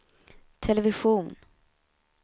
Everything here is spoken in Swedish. television